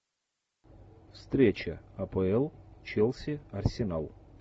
встреча апл челси арсенал